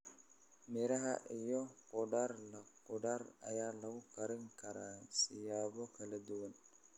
Miraha iyo khudaar la khudaar ayaa lagu karin karaa siyaabo kala duwan.